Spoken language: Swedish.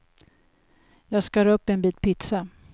Jag skar upp en bit pizza.